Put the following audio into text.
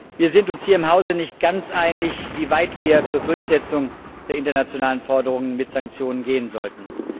Wir sind uns hier im Hause nicht ganz einig, wie weit wir zur Durchsetzung der internationalen Forderungen mit Sanktionen gehen sollten.